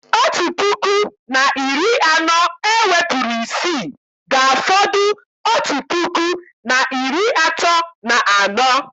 Otu puku na iri anọ ewepụrụ isii, ga-afọdụ otu puku na iri atọ na anọ